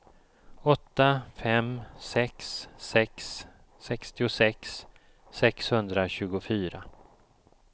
åtta fem sex sex sextiosex sexhundratjugofyra